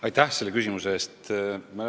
Aitäh selle küsimuse eest!